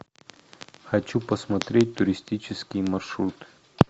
хочу посмотреть туристический маршрут